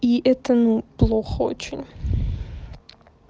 и это ну плохо очень